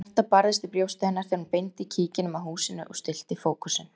Hjartað barðist í brjósti hennar þegar hún beindi kíkinum að húsinu og stillti fókusinn.